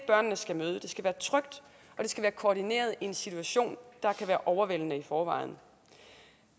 skal være koordineret i en situation der kan være overvældende i forvejen